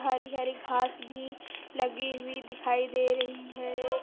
हरी हरी घास भी लगी हुई दिखाई दे रही है।